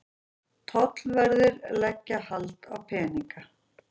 Tollverðir leggja hald á peninga